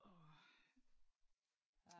Ja